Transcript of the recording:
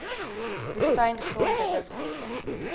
woestyn grond hittegolwe